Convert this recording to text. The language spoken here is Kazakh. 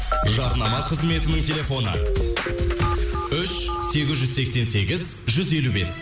жарнама қызметінің телефоны үш сегіз жүз сексен сегіз жүз елу бес